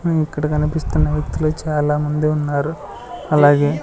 ఉ ఇక్కడ కనిపిస్తున్న వ్యక్తులు చాలామంది ఉన్నారు అలాగే--